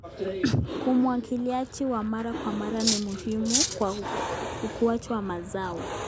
Umwagiliaji wa mara kwa mara ni muhimu kwa ukuaji wa mazao.